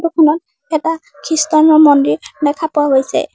এটা খ্ৰীষ্টান ৰ মন্দিৰ দেখা পোৱা গৈছে।